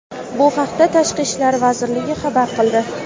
Bu haqida Tashqi ishlar vazirligi xabar qildi.